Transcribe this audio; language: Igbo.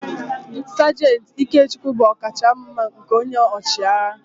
Sajant Ikechukwu bụ ọkachamma nke onye ọchịagha